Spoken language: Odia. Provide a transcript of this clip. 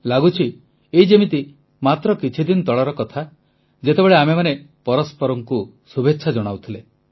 ଲାଗୁଛି ଏଇ ଯେମିତି ମାତ୍ର କିଛି ଦିନ ତଳ କଥା ଯେତେବେଳେ ଆମେମାନେ ପରସ୍ପରଙ୍କୁ ଶୁଭେଚ୍ଛା ଜଣାଉଥିଲେ